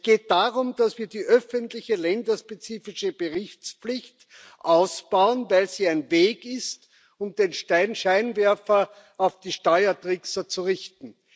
Es geht darum, dass wir die öffentliche länderspezifische Berichtspflicht ausbauen, weil sie ein Weg ist, um den Scheinwerfer auf die Steuertrickser zu richten.